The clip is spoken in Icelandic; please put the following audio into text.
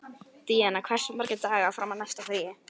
Díanna, hversu margir dagar fram að næsta fríi?